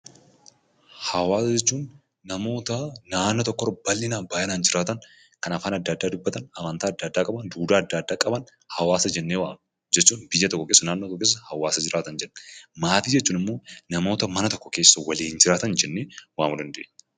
Hawaasa jechuun namoota naannoo tokkorra bal'inaan baay'inaan jiraatan, kan afaan adda addaa dubbatan, amantaa adda addaa qaban, duudhaa qaban hawaasa jennee waamna. Jechuun biyya tokko keessa, naannoo tokko keessa hawaasa jiraatan jechuudha. Maatii jechuun ammoo namoota mana tokko keessa waliin jiraatan jennee waamuu dandeenya.